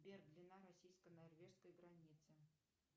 сбер длина российско норвежской границы